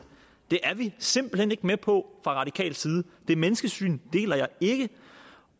er vi simpelt hen ikke med på fra radikal side det menneskesyn deler jeg ikke